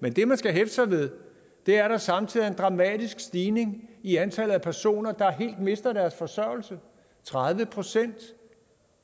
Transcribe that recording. men det man skal hæfte sig ved er at der samtidig er en dramatisk stigning i antallet af personer der helt mister deres forsørgelse tredive procent